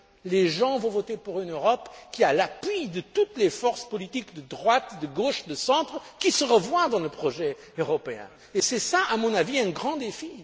sauvage. Les gens vont voter pour une Europe qui a l'appui de toutes les forces politiques de droite, de gauche, du centre qui se reflètent dans le projet européen. Voilà, à mon avis, un